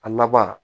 A laban